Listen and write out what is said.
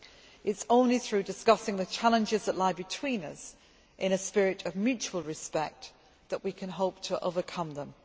It is only through discussing the challenges that lie between us in a spirit of mutual respect that we can hope to overcome them.